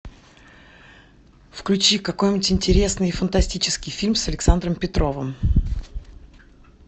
включи какой нибудь интересный фантастический фильм с александром петровым